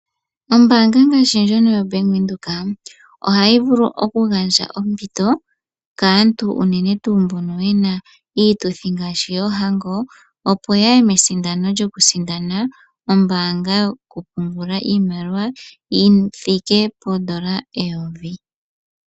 Ombanga ngaashi ndjono yoBank Windhoek oha yi vulu okugandja ompito kaantu unene tuu mbono ye na iituthi ngaashi yoohango opo ya ye mesindano lyokusindana ombanga yokupungula iimaliwa yi thike poondola eyovi.